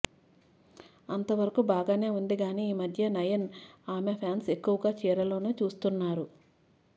అంత వరకు బాగానే ఉంది గాని ఈ మధ్య నయన్ ని ఆమె ఫాన్స్ ఎక్కువగా చీరలోనే చూస్తున్నారు